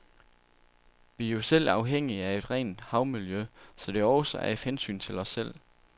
Vi er jo selv afhængige af et rent havmiljø, så det er også af hensyn til os selv.